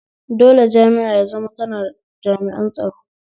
Dole jami'a ya zamo tana da jami; an tsaro